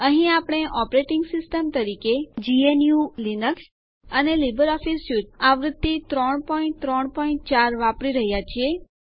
અહીં આપણે operating system તરીકે જીએનયુ લીનક્સ અને લીબર ઓફીસ સ્યુટ આવૃત્તિ ૩૩૪ વાપરી રહ્યા છીએ